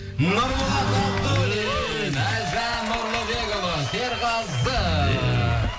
нұрболат абдуллин әлжан нұрлыбекұлы серғазы